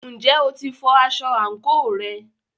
Ǹjẹ́ o ti fọ aṣọ àǹkóò rẹ?